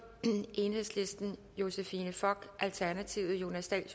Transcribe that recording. josephine fock jonas dahl